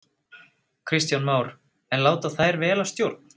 Kristján Már: En láta þær vel af stjórn?